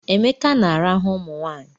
Emeka na-arahụ ụmụnwaanyị